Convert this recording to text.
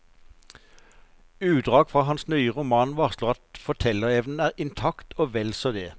Utdrag fra hans nye roman varsler at fortellerevnen er intakt og vel så det.